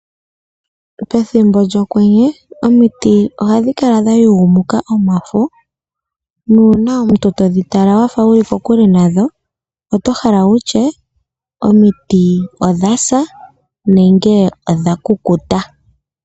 Pethimbo lyokwenye omiti ohadhi kala dha yugunuka omafo, nuuna omuntu todhi tala wafa wuli kokule nadho, oto hala wutye odhasa nenge odha kukuta.